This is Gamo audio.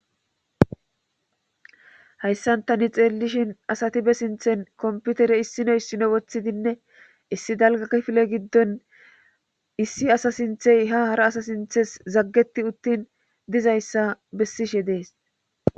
hayssan tani xeellishin asati be sinthen komputere issino issino woththidinne issi dalgakifile giddon issi asa sinthey ha hara asa sinthes zaggeti uttin dizayssa bessishe dees